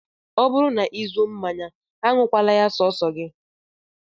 Ọ bụrụ na ị zụọ mmanya, aṅụkwala ya sọọsọ gị